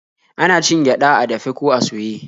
Ana cin gyaɗa a dafe ko a soye.